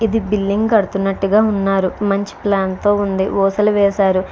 Billing కడుతున్నట్టుగా ఉన్నారు మంచి ప్లాన్ తో ఉంది. ఊసలు వేశారు.